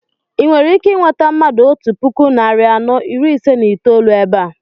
I nwere ike I nweta mmadụ otú puku narị anọ iri ise na itolu ébé a?